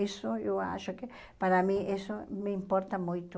Isso eu acho que, para mim, isso me importa muito.